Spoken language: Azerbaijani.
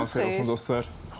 Sağ olun, dostlar.